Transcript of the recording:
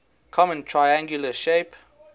common triangular shape